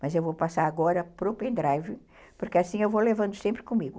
Mas eu vou passar agora para o pendrive, porque assim eu vou levando sempre comigo.